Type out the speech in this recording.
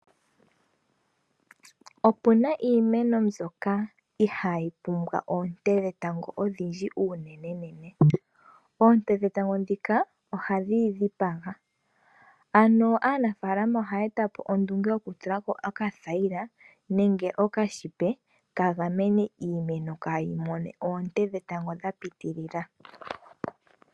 Opuna iimeno mbyoka ihaayi pumbwa oonte dhetango odhindji unenenene, oonte dhetango ndhika ohadhiyi dhipaga. Ano aanafaalama ohaya etapo ondunge yoku tulako okathayila, nenge okashipe kagamene iimeno kaayi mone oonte dhetango dha pitilila.